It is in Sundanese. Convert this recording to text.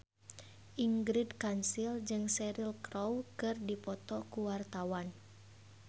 Ingrid Kansil jeung Cheryl Crow keur dipoto ku wartawan